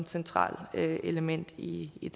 centralt element i i